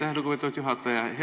Aitäh, lugupeetud juhataja!